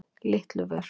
Litluvör